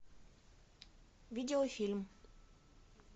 видео фильм